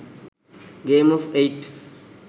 game of eight